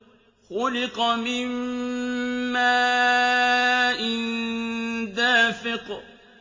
خُلِقَ مِن مَّاءٍ دَافِقٍ